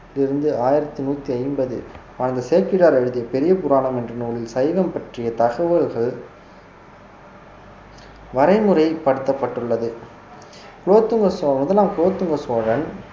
இருந்து ஆயிரத்தி நூத்தி ஐம்பது வாழ்ந்த சேக்கிழார் எழுதிய பெரியபுராணம் என்ற நூலில் சைவம் பற்றிய தகவல்கள் வரைமுறைப்படுத்தப்பட்டுள்ளது குலோத்துங்க சோழ~ முதலாம் குலோத்துங்க சோழன்